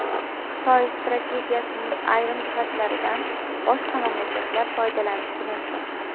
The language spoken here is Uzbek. Xitoy strategiyasining ayrim jihatlaridan boshqa mamlakatlar foydalanishi mumkin.